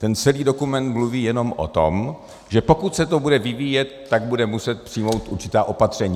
Ten celý dokument mluví jenom o tom, že pokud se to bude vyvíjet, budou se muset přijmout určitá opatření.